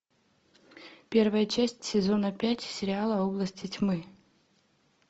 первая часть сезона пять сериала области тьмы